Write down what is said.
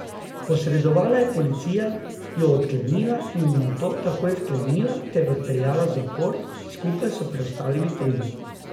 Posredovala je policija, jo odklenila in nato takoj vklenila ter odpeljala v zapor, skupaj s preostalimi tremi.